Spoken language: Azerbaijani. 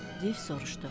Div soruşdu.